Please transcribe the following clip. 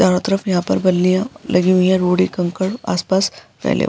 चारों तरफ यहाँ पर बल्लियाँ लगी हुई हैं। रोड़े कंकड़ आस पास फैले --